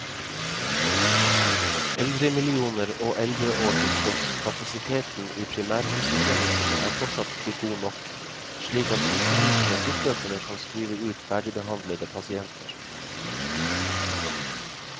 Eldremillioner og eldreår til tross, kapasiteten i primærhelsetjenesten er fortsatt ikke god nok, slik at sykehusene fortløpende kan skrive ut ferdigbehandlede pasienter.